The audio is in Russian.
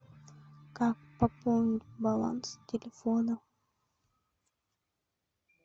как пополнить баланс телефона